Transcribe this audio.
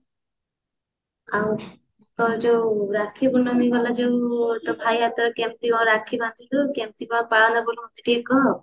ଆଉ ତୋର ଯୋଉ ରାକ୍ଷୀ ପୂର୍ଣମୀ ଦିନ ଯୋଉ ତୋ ଭାଇ ହାତରେ କେମତି କଣ ରାକ୍ଷୀ ବାନ୍ଦିଲୁ କେମତି କଣ ପାଳନ କଲୁ ମତେ ଟିକେ କହ